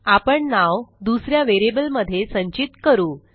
आपण नाव दुस या व्हेरिएबल मध्ये संचित करू